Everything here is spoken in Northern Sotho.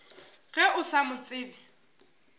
ge o sa mo tsebe